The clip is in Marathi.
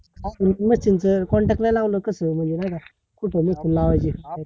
आपण machine च contact नाय लावल कस म्हणजे नाय का? कुठे लावायचे?